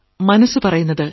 മനസ്സു പറയുന്നത്